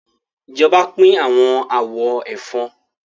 Ìjọba pín awọn àwọn ẹ̀fọn.